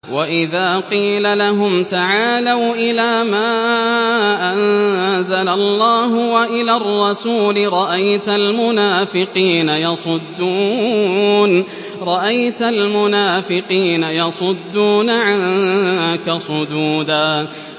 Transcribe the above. وَإِذَا قِيلَ لَهُمْ تَعَالَوْا إِلَىٰ مَا أَنزَلَ اللَّهُ وَإِلَى الرَّسُولِ رَأَيْتَ الْمُنَافِقِينَ يَصُدُّونَ عَنكَ صُدُودًا